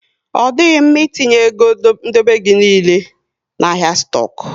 Ọ dịghị mma ị etinye égo dobe gị niile na ahịa stoku